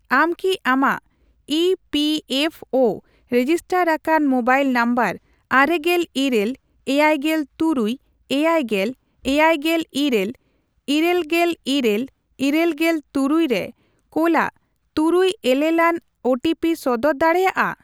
ᱟᱢ ᱠᱤ ᱟᱢᱟᱜ E P F O register ᱟᱠᱟᱱ ᱢᱳᱵᱟᱭᱤᱞ ᱱᱟᱢᱵᱟᱨ ᱟᱨᱮᱜᱮᱞ ᱤᱨᱟᱹᱞ ,ᱮᱭᱟᱭᱜᱮᱞ ᱛᱩᱨᱩᱭ ,ᱮᱭᱟᱭᱜᱮᱞ ,ᱮᱭᱟᱭᱜᱮᱞ ᱤᱨᱟᱞ ,ᱤᱨᱟᱹᱞᱜᱮᱞ ᱤᱨᱟᱹᱞ ,ᱤᱨᱟᱹᱞᱜᱮᱞ ᱛᱩᱨᱩᱭ ᱨᱮ ᱠᱳᱞᱟᱜ ᱛᱩᱨᱩᱭ ᱮᱞᱮᱞᱟᱱ ᱳ ᱴᱤ ᱯᱤ ᱥᱚᱫᱚᱨ ᱫᱟᱲᱮᱭᱟᱜᱼᱟ ?